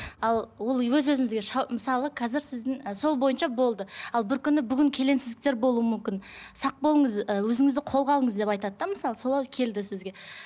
ал ол өз өзіңізге мысалы қазір сіздің і сол бойынша болды ал бір күні бүгін келеңсіздіктер болуы мүмкін сақ болыңыз і өзіңізді қолға алыңыз деп айтады да мысалы солай келді сізге